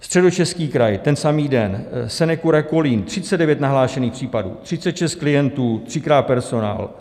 Středočeský kraj ten samý den, SeneCura Kolín, 39 nahlášených případů, 36 klientů, třikrát personál;